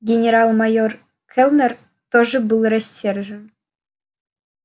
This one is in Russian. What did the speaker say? генерал-майор кэллнер тоже был рассержен